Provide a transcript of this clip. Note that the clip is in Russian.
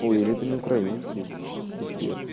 ой или это не украинский пипец